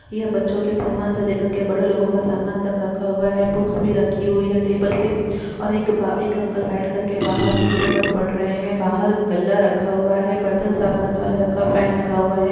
यह बच्चों के सामान से लेकर के बड़े लोगों का सामान तक रखा हुआ है बुक्स भी रखी हुई है टेबल पे और एक ब एक अंकल बैठ करके बाहर न्यूज पेपर पढ़ रहे है बाहर गल्ला रखा हुआ है बर्तन साफ करने वाला रखा फैन लगा हुआ है।